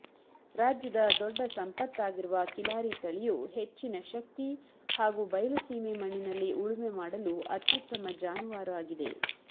ರಾಜ್ಯದ ದೊಡ್ಡ ಸಂಪತ್ತಾಗಿರುವ ಕಿಲಾರಿ ತಳಿಯು ಹೆಚ್ಚಿನ ಶಕ್ತಿ ಹಾಗೂ ಬಯಲುಸೀಮೆ ಮಣ್ಣಿನಲ್ಲಿ ಉಳುಮೆ ಮಾಡಲು ಅತ್ಯುತ್ತಮ ಜಾನುವಾರು ಆಗಿದೆ